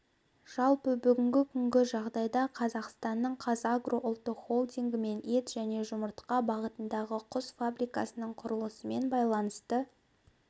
жалпы бүгінгі күнгі жағдайда қазақстанның қазагро ұлттық холдингімен ет және жұмыртқа бағытындағы құс фабрикасының құрылысымен байланысты